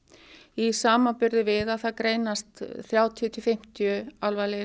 í samanburði við að það greinast þrjátíu til fimmtíu alvarlegir